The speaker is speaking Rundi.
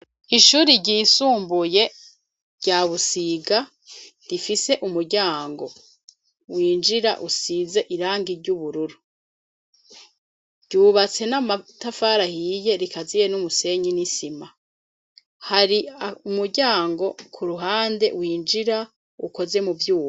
Ishure ryisumbuye rya Busiga ,rifise umuryango winjira usize irangi ry'ubururu ryubatse n'amatafari ahiye rikaziye n'umusenyi n'isima ,hari umuryango ku ruhande winjira ukoze mu vyuma.